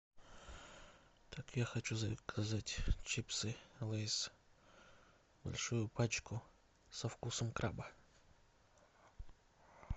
так я хочу заказать чипсы лейс большую пачку со вкусом краба